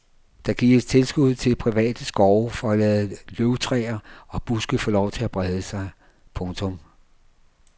Der gives tilskud til private skove for at lade løvtræer og buske få lov til at brede sig. punktum